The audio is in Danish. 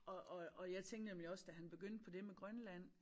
Og og og jeg tænkte nemlig også da han begyndte på det med Grønland